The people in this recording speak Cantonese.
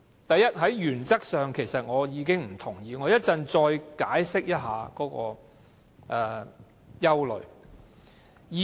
第一，在原則上我已經不同意，我稍後再解釋我的憂慮。